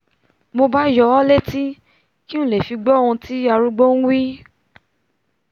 mo bá yọ ọ́ létí kí ng fi lè gbọ́'hun tí arúgbó nwí